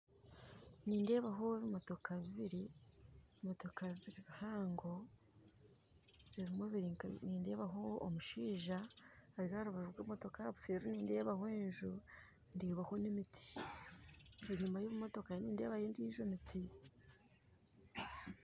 Nindeebaho ebimotoka bibiri, ebimotoka bibiri bihango bihango nindeebaho omushija ari aharubaju rw'emotoka, aha buseeri nideebaho enju ndeebaho n'emiti. Enyuma ey'ebimotoka nindeebaho endiijo emiti